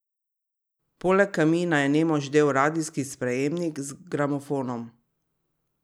Poleg kamina je nemo ždel radijski sprejemnik z gramofonom.